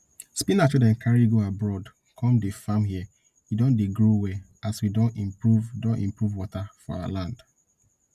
spinach wey dem carry go abroad come dey farm here e don dey grow well as we don improve don improve water for our land